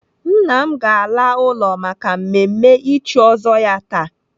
Nna m ga-ala ụlọ maka mmemme ịchị ọzọ ya taa.